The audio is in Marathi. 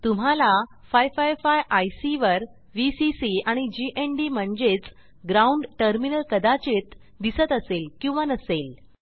तुम्हाला 555 आयसी वर व्हीसीसी आणि जीएनडी म्हणजेच ग्राउंड टर्मिनल कदाचित दिसत असेल किंवा नसेल